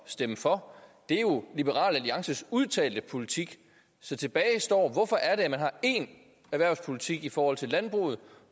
stemme for det er jo liberal alliances udtalte politik så tilbage står spørgsmålet hvorfor er det at man har én erhvervspolitik i forhold til landbruget